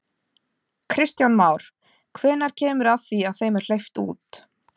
Kristján Már: Hvenær kemur að því að þeim er hleypt út?